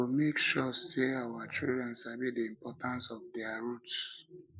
we go make sure say our children sabi the importance of their roots